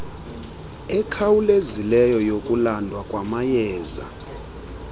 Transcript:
ekhawulezileyo yokulandwa kwamayeza